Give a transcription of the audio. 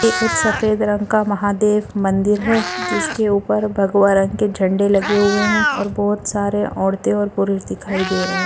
ये एक सफेद रंग का महादेव मंदिर है जिसके ऊपर भगवा रंग के झण्डे लगे हुए है और बहुत सारे औरते और पुरुष दिखाई दे रहे है।